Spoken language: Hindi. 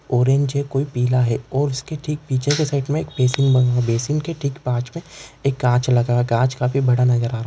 ऑरेंज है कोई पीला है। और उसके ठिक पिच्छे के साईड मे एक बेसिन बना हुआ है। बेसिन के ठीक पास मे एक काच लगा काच काफी बड़ा नज़र आ रहा--